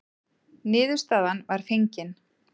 Niðurstaðan var fengin.